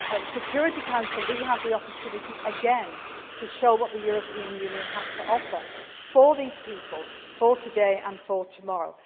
too. At the Security Council we again have the opportunity to show what the European Union has to offer for these people, for today and for tomorrow.